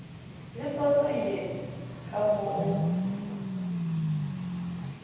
lesoosoo eye ka mo o